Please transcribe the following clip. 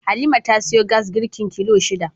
Halima ta siyo gas girki kilo shida